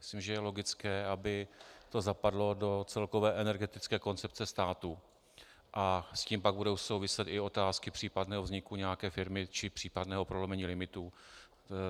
Myslím, že je logické, aby to zapadlo do celkové energetické koncepce státu, a s tím pak budou souviset i otázky případného vzniku nějaké firmy či případného prolomení limitů.